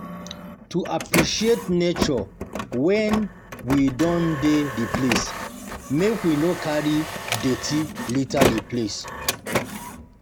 To appreciate nature when we don dey di place, make we no carry dirty liter di place